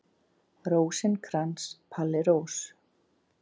Rósinkrans, Palli Rós.